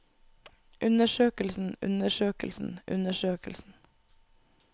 undersøkelsen undersøkelsen undersøkelsen